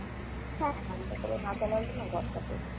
হ্যাঁ fan টা তো আর না চালালেই নয় ঘরটা তে।